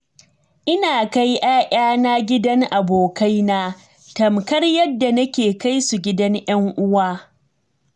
Ina kai 'ya'yana gidan abokaina tamkar yadda nake kai su gidan 'yan uwa.